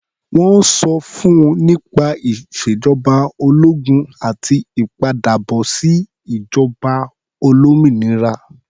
Wọ́n sọ fún nípa ìṣèjọba ológun àti ìpadàbọ̀sí ìjọba olómìnira.